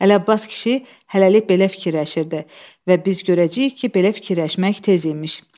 Ələbbas kişi hələlik belə fikirləşirdi və biz görəcəyik ki, belə fikirləşmək tez imiş.